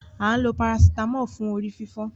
A ǹ lo Paracetamol fún orí-fífọ